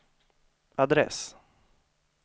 adress